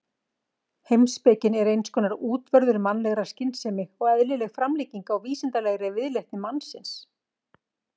Heimspekin er eins konar útvörður mannlegrar skynsemi og eðlileg framlenging á vísindalegri viðleitni mannsins.